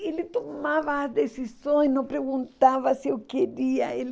Ele tomava decisões, não perguntava se eu queria. E